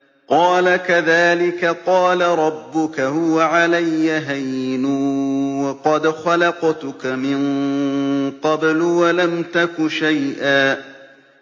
قَالَ كَذَٰلِكَ قَالَ رَبُّكَ هُوَ عَلَيَّ هَيِّنٌ وَقَدْ خَلَقْتُكَ مِن قَبْلُ وَلَمْ تَكُ شَيْئًا